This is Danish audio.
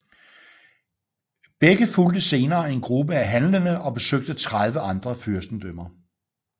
Begge fulgte senere en gruppe af handlende og besøgte 30 andre fyrstedømmer